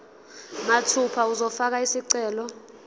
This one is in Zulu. mathupha uzofaka isicelo